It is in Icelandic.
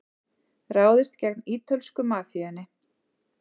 Ráðist gegn ítölsku mafíunni